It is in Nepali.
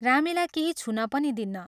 रामेलाई केही छुन पनि दिन्न।